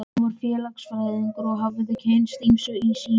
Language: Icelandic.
Hún var félagsfræðingur og hafði kynnst ýmsu í sínu starfi.